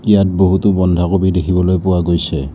ইয়াত বহুতো বন্ধাকবি দেখিবলৈ পোৱা গৈছে।